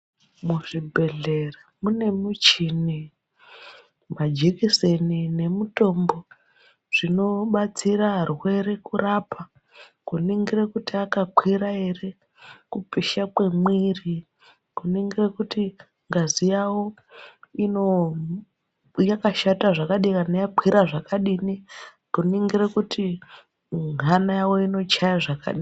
Muzvibhedhlera mune michini, majekiseni nemitombo nemitombo inobatsire arwere kurapa kuningire kuti akakwira ere kupisha kwemiri, kuningire kuti ngazi yawo yakashata ere kana yakakwira zvakadini. Kuningire kuti hana yawo inochaye zvakadini.